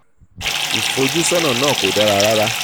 ìfojúsọ́nà náà kò dára rárá.